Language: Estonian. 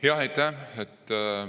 Jah, aitäh!